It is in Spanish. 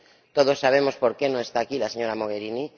Todos sabemos por qué no está aquí la señora Mogherini.